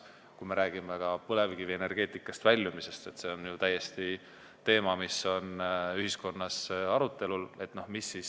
Kui me räägime põlevkivienergeetikast väljumisest, siis see on ju täiesti teema, mis on ühiskonnas arutelul.